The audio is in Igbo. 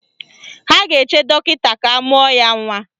Ha ga-eche dọkịta ga-amụ ya nwa